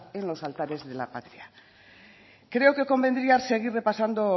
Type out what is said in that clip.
en los altares de la patria creo que convendría seguir repasando